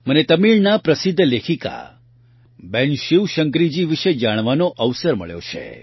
મને તમિળનાં પ્રસિધ્ધ લેખિકા બહેન શિવશંકરીજી વિશે જાણવાનો અવસર મળ્યો છે